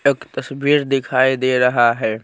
एक तस्वीर दिखाई दे रहा है।